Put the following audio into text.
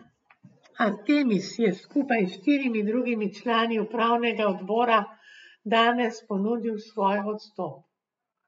Artemis je skupaj s štirimi drugimi člani upravnega odbora danes ponudil svoj odstop.